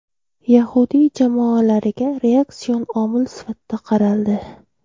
Yahudiy jamoalariga reaksion omil sifatida qaraldi.